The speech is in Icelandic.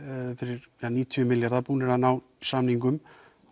fyrir níutíu milljarða búnir að ná samningum